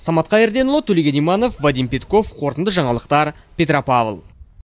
самат қайырденұлы төлеген иманов вадим пятков қорытынды жаңалықтар петропавл